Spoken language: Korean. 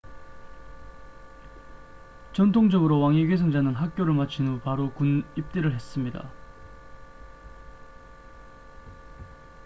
전통적으로 왕위 계승자는 학교를 마친 후 바로 군입대를 했습니다